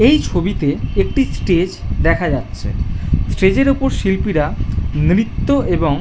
এই ছবিতে একটি স্টেজ দেখা যাচ্ছে স্টেজ এর উপর শিল্পীরা নৃত্য এবং --